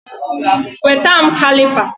Weta m Kalipa